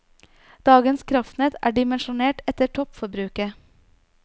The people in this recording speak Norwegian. Dagens kraftnett er dimensjonert etter toppforbruket.